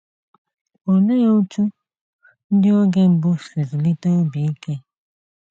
Olee otú ndị oge mbụ si zụlite obi ike?